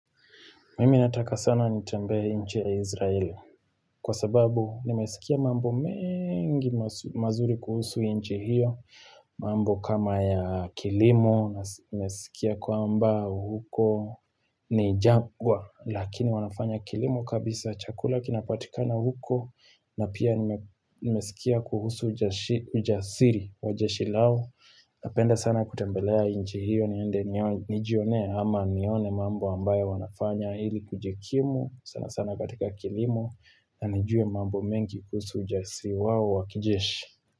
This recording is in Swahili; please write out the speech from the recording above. Mimi nataka sana nitembee nchi ya Izraeli kwa sababu nimesikia mambo mengi mazuri kuhusu nchi hiyo mambo kama ya kilimo nimesikia kwamba huko ni jagwa Lakini wanafanya kilimo kabisa chakula kinapatika na huko na pia nimesikia kuhusu ujasiri wa jeshilao Napenda sana kutembelea nchi hiyo niende nijionee ama nione mambo ambayo wanafanya hili kujikimu sana sana katika kilimo na nijue mambo mengi kuhusu ujasiri wao wakijeshi.